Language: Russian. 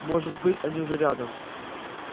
может быть они уже рядом